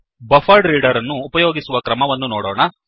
BufferedReaderಬಫ್ಫರ್ಡ್ reader ಅನ್ನು ಉಪಯೋಗಿಸುವ ಕ್ರಮವನ್ನು ನೋಡೋಣ